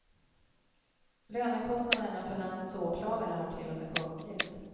Lönekostnaderna för landets åklagare har till och med sjunkit.